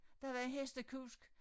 Der var hestekusk